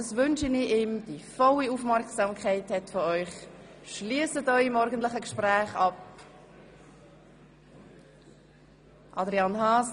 Damit er Ihre volle Aufmerksamkeit hat, bitte ich Sie, Ihre morgendlichen Gespräche zu beenden.